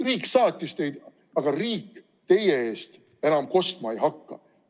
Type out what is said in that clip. Riik saatis teid, aga riik teie eest enam kostma ei hakka.